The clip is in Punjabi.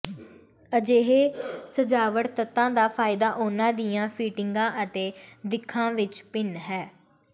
ਅਜਿਹੇ ਸਜਾਵਟ ਤੱਤਾਂ ਦਾ ਫਾਇਦਾ ਉਹਨਾਂ ਦੀਆਂ ਫਿਟਿੰਗਾਂ ਅਤੇ ਦਿੱਖਾਂ ਵਿੱਚ ਭਿੰਨ ਹੈ